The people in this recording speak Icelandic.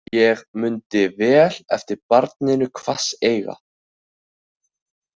Ég mundi vel eftir barninu hvasseyga.